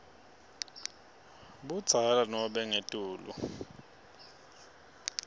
budzala nobe ngetulu